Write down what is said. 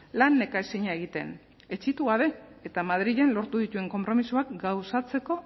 lan nekaezina egiten etsitu gabe eta madrilen lortu dituen konpromisoak gauzatzeko